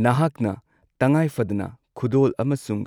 ꯅꯍꯥꯛꯅ ꯇꯉꯥꯏꯐꯗꯅ ꯈꯨꯗꯣꯜ ꯑꯃꯁꯨꯡ